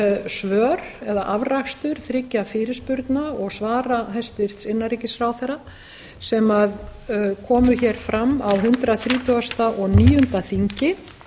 svör eða afrakstur þriggja fyrirspurna og svara hæstvirtur innanríkisráðherra sem komu hér fram á hundrað þrítugasta og níunda þingi